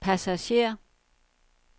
passager